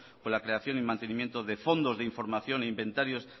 con la creación y mantenimiento de fondos de información e inventarios